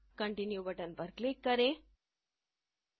continue button पर click करें